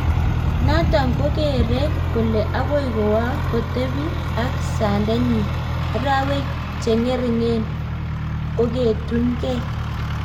Notok kokeree kolee agoi kowoo kotepii ak sandet nyiin arwek cheng'ering'en koketun gei